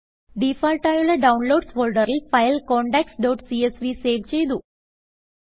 default ആയുള്ള downloads ഫോൾഡറിൽ file contactsസിഎസ്വി സേവ് ചെയ്തു